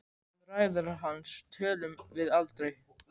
Um ræður hans tölum við aldrei.